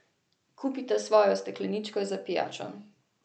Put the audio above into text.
Kupite svojo stekleničko za pijačo.